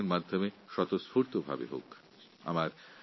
এর জন্য সাধারণ মানুষকে নাগরিকদেরকে স্বেচ্ছায় এগিয়ে আসতে হবে